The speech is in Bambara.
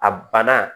A banna